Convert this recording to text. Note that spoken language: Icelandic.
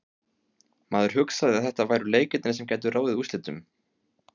Maður hugsaði að þetta væru leikirnir sem gætu ráðið úrslitum.